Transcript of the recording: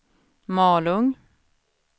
Malung